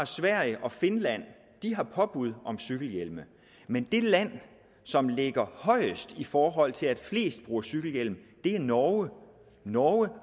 sverige og finland har påbud om cykelhjelm men det land som ligger højest i forhold til at flest bruger cykelhjelm er norge norge